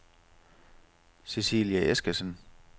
Cecilie Eskesen